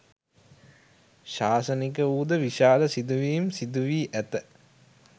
ශාසනික වූද, විශාල සිදුවීම් සිදුවී ඇත.